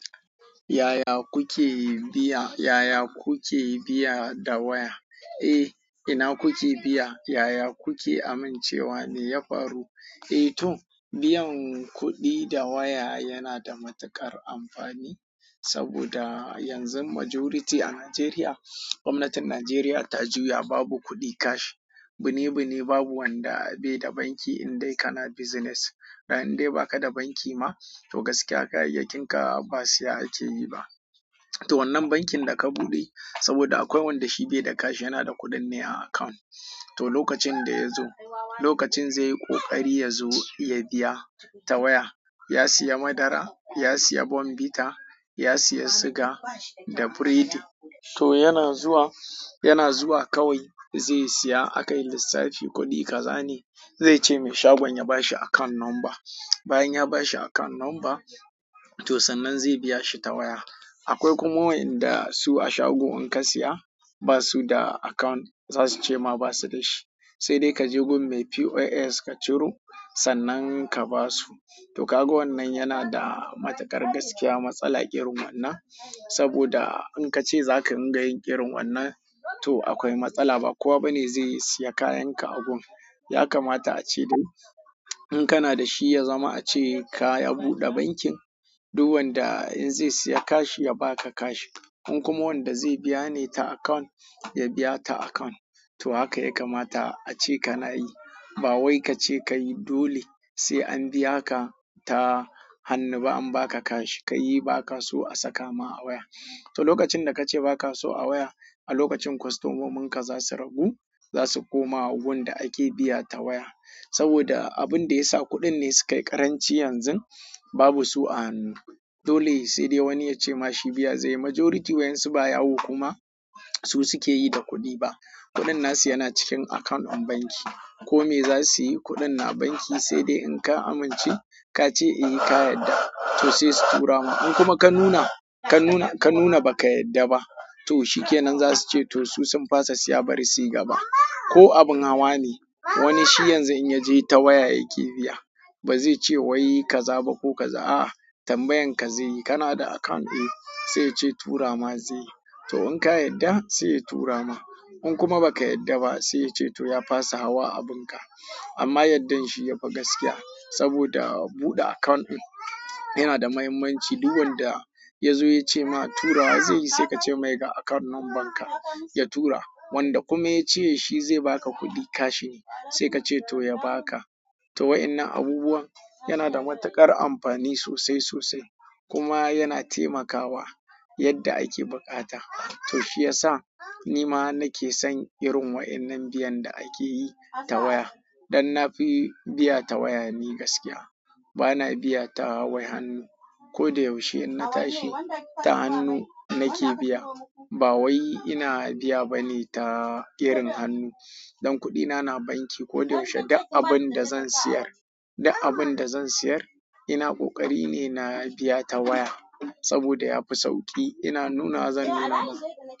Yaya kuke biya, yaya kuke biya da waya? Eh, ina kuke biya? Yaya kuke amincewa, me ya faru? Eh to, biyan kuɗi da waya yana da matuƙar amfani saboda yanzu majority a Najeriya, gwamnatin Najeriya ta juya babu kuɗi cash. Buni buni babu wanda baida banki indai kana business da indai baka da banki ma, to gaskiya kayayyakinka ba siya ake yi ba. To wannan bankin da ka buɗe, saboda akwai wanda shi bai da cash yana da kuɗin ne a account. To lokacin da ya zo, lokacin zai yi ƙoƙari ya zo ya biya ta waya, ya siya madara, ya siya bonbita, ya siya siga da biredi. To yana zuwa, yana zuwa kawai zai siya, a kai lissafi kuɗi ka zane. Zai ce mai shagon ya bashi account number. Bayan ya bashi account number, to sannan zai biya shi ta waya. Akwai kuma waƴanda su a shago in ka siya basu da account, zasu ce ma basu basu dashi, sai dai kaje gurin mai POS ka ciro sannan ka basu to kaga wannan yana da matuƙar gaskiya matsala irin wannan, saboda in ka ce za ka dinga yin irin wannan, to akwai matsala. Ba kowa bane zai siya kayan ka a gurin. Ya kamata a ce dai in kana da shi, ya zama a ce ka buɗe bankin. Duk wanda zai siya cash, ya baka cash in kuma wanda zai biya ne ta account, ya biya ta account. To haka ya kamata a ce kana yi. Ba wai ka ce kai dole sai an biya ka ta hannu ba an ba ka cash. Kai ba ka so a saka ma a waya. To lokacin da kace baka so a waya, a lokacin kwastomominka zasu ragu. Za su koma wurin da ake biya ta waya saboda abun da ya sa kuɗin ne su kayi ƙaranci yanzun babu su a hannu. Dole sai dai wani ya ce ma shi biya zai yi. Majority waƴansu ba yawo kuma su suke yi da kuɗi ba. Kuɗin nasu yana cikin account ɗin banki. Ko me zasu yi kuɗin na banki, sai dai idan ka amince ka ce eh ka yarda, to sai su tura maka in kuma ka nuna, ka nuna, ka nuna ba ka yarda ba, to shi ke nan za su ce to su sun fasa siya bari su yi gaba. Ko abin hawa ne, wani shi yanzu in ya je ta waya yake biya. Ba zai ce wai kaza ba ko kaza, a'a tambayan ka zai yi. Kana da account eh, sai yace tura ma zai yi. To in ka yadda, sai ya tura ma. In kuma ba ka yarda ba, sai ya ce to ya fasa hawa abin ka. Amma yardar shi ya fi gaskiya, saboda buɗe account ɗin yana da muhimmanci. Duk wanda ya zo ya ce ma tura zai yi, sai ka ce mai ga account numbar ka ya tura. Wanda kuma yace shi zai baka kuɗi cash ne, sai kace to ya baka to wa'innan abubuwan yana da matuƙar amfani sosai sosai kuma yana taimakawa yadda ake buƙata. To shi ya sa ni ma nake son irin wa'innan biyan da ake yi ta waya. Don nafi biya ta waya ni gaskiya. Bana biya ta wai hannu. Ko da yaushe idan na tashi, ta hannu nake biya. Ba wai ina biya bane ta irin hannu. Dan kuɗina na banki. Ko da yaushe duk abun da zan siyar, duk abun da zan siyar, ina ƙoƙari ne na biya ta waya saboda ya fi sauƙi. Ina nuna zan nuna ma.